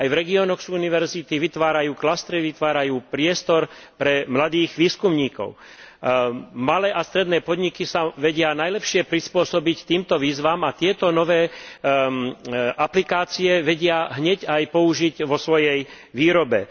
Aj v regiónoch sú univerzity, vytvárajú vytvárajú priestor pre mladých výskumníkov. Malé a stredné podniky sa vedia najlepšie prispôsobiť týmto výzvam a tieto nové aplikácie vedia hneď aj použiť vo svojej výrobe.